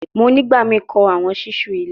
Mo nigbamii kọ awọn ṣiṣu ile